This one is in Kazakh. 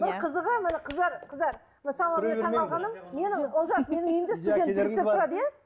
бір қызығы міне қыздар қыздар мысалы менің таңғалғаным менің олжас менің үйімде студент жігіттер тұрады иә